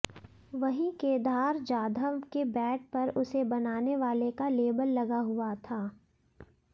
वहीं केधार जाधव के बैट पर उसे बनाने वाले का लेबल लगा हुआ था